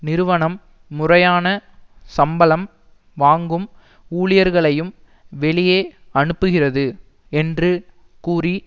நிறுவனம் முறையான சம்பளம் வாங்கும் ஊழியர்களையும் வெளியே அனுப்புகிறது என்று கூறி